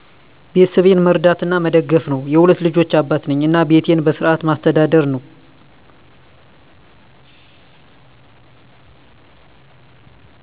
ቤተሰቤን መርዳት እና መደገፍ ነው። የሁለት ልጆች አባት ነኝ እና ቤቴን በስርዓት ማስተዳደር ነው።